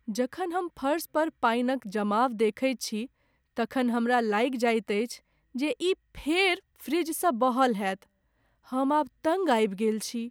जखन हम फरस पर पानिक जमाव देखैत छी तखन हमरा लागि जाएत अछि जे ई फेर फ्रिजसँ बहल होएत। हम आब तङ्ग आबि गेल छी।